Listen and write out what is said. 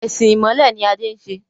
Ẹ̀sìn ìmọ̀le ni Adé ń ṣe.